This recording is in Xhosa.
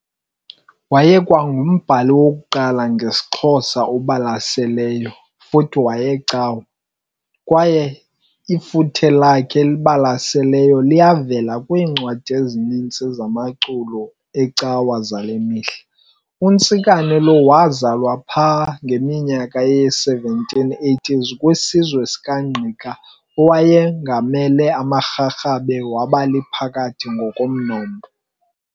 Wayekwangumbhali wokuqala ngesixhosa obalaseleyo futhi wayecawa, kwaye ifuthe lakhe elibalaseleyo liyavela kwiincwadi ezininzi zamaculo ecawa zalemihla. UNtsikane lo wazalwa pha ngeminyaka ye-1780 kwiziswe sikaNgqika owayengamele amaRharhabe, wabaliphakathi ngokomnombo.